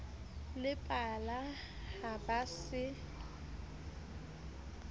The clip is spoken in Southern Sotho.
le pala ha ba se